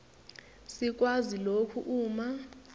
sikwazi lokhu uma